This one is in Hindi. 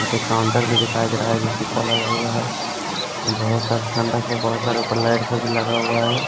यहां पे काउंटर भी दिखाई दे रहा है जो शीशा लगा हुआ है वहां बहुत सारा ठंडक है बहुत सारे ऊपर लाइट सब भी लगा हुआ है।